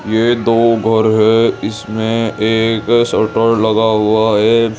ये दो घर है इसमें एक शटर लगा हुआ है।